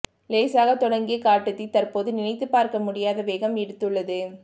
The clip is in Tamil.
லேசாக தொடங்கிய காட்டுத் தீ தற்போது நினைத்து பார்க்க முடியாத வேகம் எடுத்துள்ளது